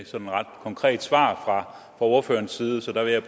sådan ret konkret svar fra ordførerens side så jeg